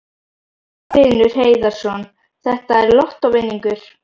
Magnús Hlynur Hreiðarsson: Þetta er lottóvinningur?